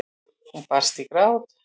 Hún brast í grát.